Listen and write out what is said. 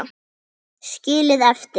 Skilið eftir?